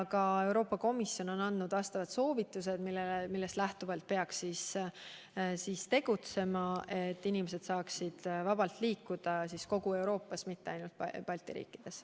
Ka Euroopa Komisjon on andnud selle kohta soovitused, millest lähtuvalt peaks tegutsema, et inimesed saaksid vabalt liikuda kogu Euroopas, mitte ainult Balti riikides.